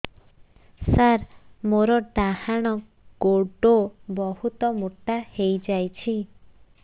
ସାର ମୋର ଡାହାଣ ଗୋଡୋ ବହୁତ ମୋଟା ହେଇଯାଇଛି